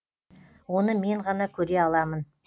оны мен ғана көре аламын